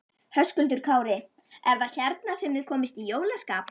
Höskuldur Kári: Er það hérna sem þið komist í jólaskap?